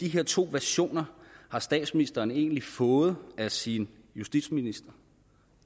her to versioner har statsministeren egentlig fået af sin justitsminister